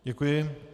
Děkuji.